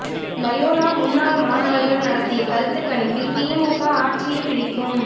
Loyola முன்னாள் மாணவர்கள் நடத்திய கருத்துக் கணிப்பில் திமுக ஆட்சியைப் பிடிக்கும்